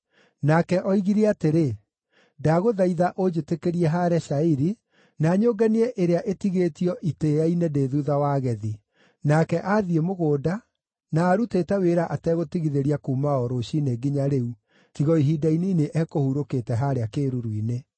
Nake oigire atĩrĩ, ‘Ndagũthaitha ũnjĩtĩkĩrie haare cairi, na nyũnganie ĩrĩa ĩtigĩtio itĩĩa-inĩ ndĩ thuutha wa agethi.’ Nake aathiĩ mũgũnda, na arutĩte wĩra ategũtigithĩria kuuma o rũciinĩ nginya rĩu, tiga o ihinda inini ekũhurũkĩte haarĩa kĩĩruru-inĩ.”